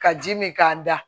Ka ji min k'a da